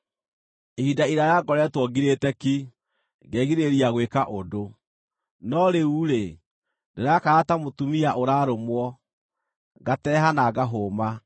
“Ihinda iraaya ngoretwo ngirĩte ki, ngegirĩrĩria gwĩka ũndũ. No rĩu-rĩ, ndĩrakaya ta mũtumia ũrarũmwo, ngateeha na ngahũma.